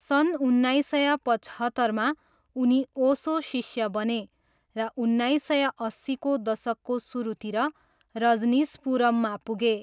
सन् उन्नाइस सय पचहत्तरमा उनी ओसोको शिष्य बने र उन्नाइस सय अस्सीको दशकको सुरुतिर रजनिसपुरममा सरे।